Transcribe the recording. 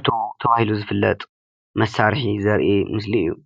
ዕትሮ ተባሂሉ ዝፍለጥ መሳርሒ ዘርኢ ምስሊ እዩ፡፡